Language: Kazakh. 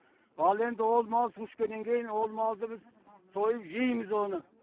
ал енді ол мал су ішкеннен кейін ол малды біз сойып жейміз оны